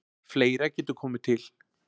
Fleira getur komið til.